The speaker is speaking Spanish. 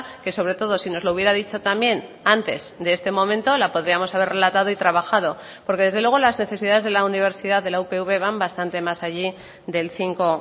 que sobre todo si nos lo hubiera dicho también antes de este momento la podríamos haber relatado y trabajado porque desde luego las necesidades de la universidad de la upv van bastante más allí del cinco